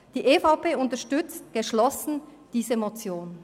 Die EVP unterstützt geschlossen diese Motion.